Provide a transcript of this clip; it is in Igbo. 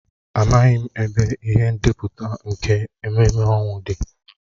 Amaghị m ebe ihe ndepụta nke ememme ọnwụ dị.